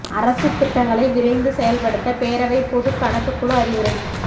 அரசுத் திட்டங்களை விரைந்து செயல்படுத்த பேரவைப் பொது கணக்குக் குழு அறிவுரை